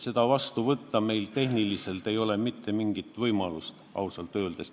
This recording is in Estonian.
Juba puhttehniliselt ei ole mitte mingit võimalust seda otsust vastu võtta, kui aus olla.